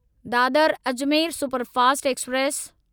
Dadar Ajmer superfast express